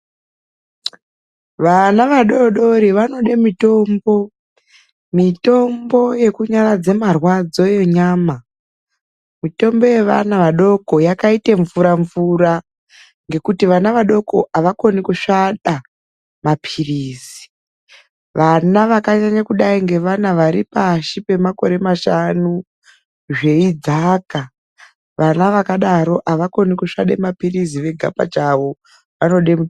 Vana vadoodori vanode mitombo, mitombo yekunyaradza marwadzo enyama. mitombo yevana vadoko yakaita mvura mvura ngekuti vana vadoko avakoni kusvada mapirizi. Vana vakaita vadoko vane ari pashi pemashanu, zveidzaka. Vana vakadaroko avakoni kusvada maplizi vega pachavo, vanode,